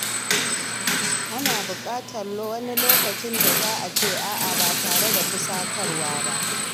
Ana bukatar sanin lokacin da za a ce “a’a” ba tare da fusatawa ba.